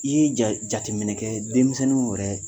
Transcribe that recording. I ye jateminɛ kɛ denmisɛnninw wɛrɛ